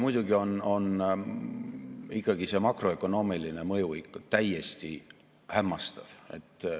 Muidugi on makroökonoomiline mõju ikkagi täiesti hämmastav.